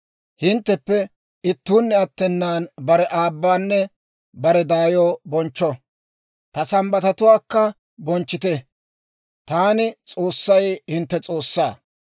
« ‹Hintteppe ittuunne attenan bare aabbanne bare daayo bonchcho; ta Sambbatatuwaakka bonchchite. Taani, S'oossay, hintte S'oossaa.